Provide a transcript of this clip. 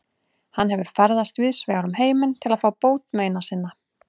Hann hefur ferðast víðsvegar um heiminn til að fá bót meina sinna.